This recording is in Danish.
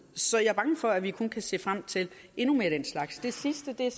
så jeg er bange for at vi kun kan se frem til endnu mere af den slags det sidste jeg